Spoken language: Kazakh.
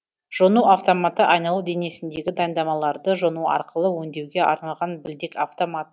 жону автоматы айналу денесіндегі дайындамаларды жону арқылы өндеуге арналған білдек автомат